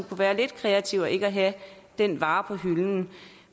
kunne være lidt kreative ved ikke at have den vare på hylden